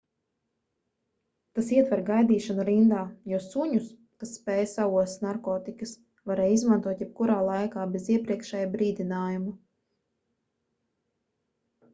tas ietver gaidīšanu rindā jo suņus kas spēj saost narkotikas varēja izmantot jebkurā laikā bez iepriekšēja brīdinājuma